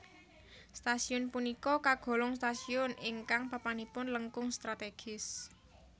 Stasiun punika kagolong stasiun ingkang papanipun langkung strategis